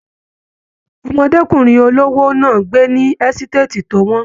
Ọmọdékunrin olówó náà n gbé ní ẹsitati to wọn.